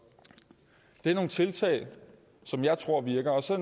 det er nogle tiltag som jeg tror virker så